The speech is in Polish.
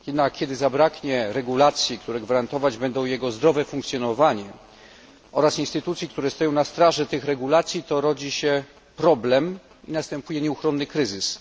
Kiedy zabraknie regulacji, które gwarantować będą jego zdrowe funkcjonowanie oraz instytucji, które stoją na straży tych regulacji, to rodzi się problem i następuje nieuchronny kryzys.